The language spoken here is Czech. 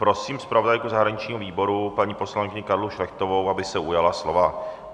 Prosím zpravodajku zahraničního výboru, paní poslankyni Karlu Šlechtovou, aby se ujala slova.